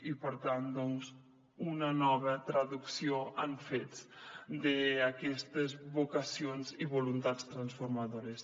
i per tant una nova traducció en fets d’aquestes vocacions i voluntats transformadores